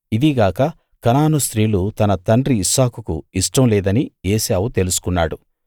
ఇదిగాక Canaan స్త్రీలు తన తండ్రి ఇస్సాకుకు ఇష్టం లేదనీ ఏశావు తెలుసుకున్నాడు